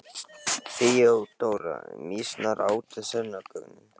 THEODÓRA: Mýsnar átu sönnunargögnin.